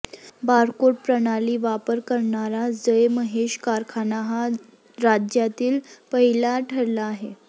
barcode प्रणाली वापर करणारा जय महेश कारखाना हा राज्यातील पहिला ठरला आहे